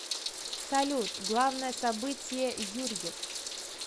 салют главное событие юрьев